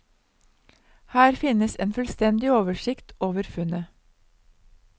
Her finnes en fullstendig oversikt over funnet.